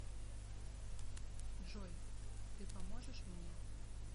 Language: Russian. джой ты поможешь мне